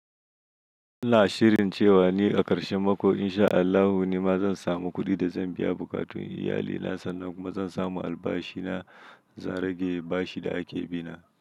Ina shirin cewa ni a karshe mako in sha Allahu ni ma zan samu kuɗi da zan biya bukatun iyalina sannan kuma zan samu albashi na zan rage bashi da ake bina.